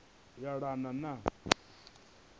vunu ane a yelana na